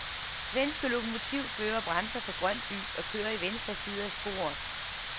Svenske lokomotivførere bremser for grønt lys og kører i venstre side af sporet.